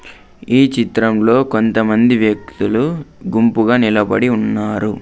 ఈ చిత్రంలో కొంత మంది వ్యక్తులు గుంపు గా నిలబడి ఉన్నారు.